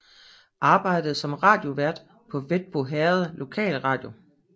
Arbejdede som radiovært på Hvetbo Herreds lokalradio